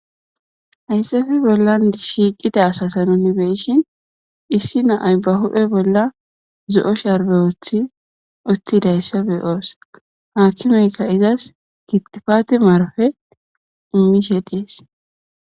Hayssafi bollan shiiqida asasan nu be7ishin issi naay ba huphe bolla zo7o sharbe oothi oththidayssa beyoos haakinoyka izas gittifaati marfe umishe dees.